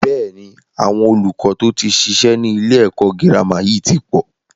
Bẹ́ẹ̀ni, àwọn olùkọ́ to tí ṣiṣẹ́ ni ilé ẹ̀kọ́ gírámà yìí tí pọ̀